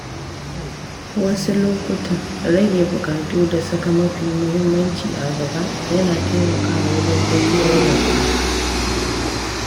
Wasu lokuta, rage buƙatu da saka mafi muhimmanci a gaba yana taimakawa wajen tafiyar da kuɗi.